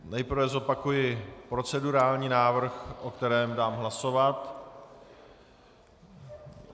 Nejprve zopakuji procedurální návrh, o kterém dám hlasovat.